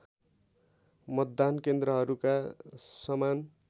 मतदान केन्द्रहरूका समान